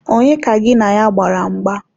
Onye ka gị na ya gbara mgba?